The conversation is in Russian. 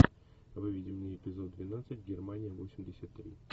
выведи мне эпизод двенадцать германия восемьдесят три